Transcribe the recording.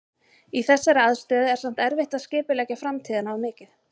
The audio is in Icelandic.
Í þessari aðstöðu er samt erfitt að skipuleggja framtíðina of mikið.